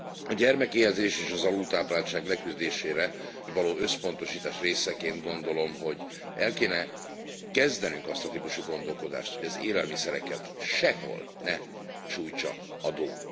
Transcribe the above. A gyermekéhezés és az alultápláltság leküzdésére való összpontosítás részeként, úgy gondolom, hogy el kéne kezdenünk azt a típusú gondolkodást, hogy az élelmiszereket sehol ne sújtsa adó.